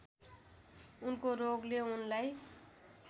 उनको रोगले उनलाई